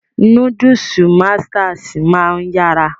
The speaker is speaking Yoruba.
Núdúùsù masters máa ń yára